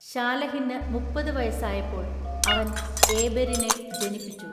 ശാലഹിന്നു മുപ്പതു വയസ്സായപ്പോൾ അവൻഏബെരിനെ ജനിപ്പിച്ചു.